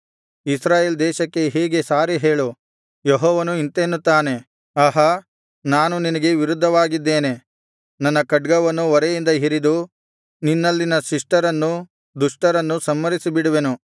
ಇಸ್ರಾಯೇಲ್ ದೇಶಕ್ಕೆ ಹೀಗೆ ಸಾರಿ ಹೇಳು ಯೆಹೋವನು ಇಂತೆನ್ನುತ್ತಾನೆ ಆಹಾ ನಾನು ನಿನಗೆ ವಿರುದ್ಧವಾಗಿದ್ದೇನೆ ನನ್ನ ಖಡ್ಗವನ್ನು ಒರೆಯಿಂದ ಹಿರಿದು ನಿನ್ನಲ್ಲಿನ ಶಿಷ್ಟರನ್ನೂ ದುಷ್ಟರನ್ನೂ ಸಂಹರಿಸಿ ಬಿಡುವೆನು